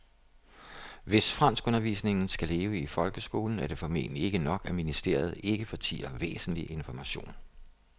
Hvis franskundervisningen skal leve i folkeskolen er det formentlig ikke nok, at ministeriet ikke fortier væsentlig information.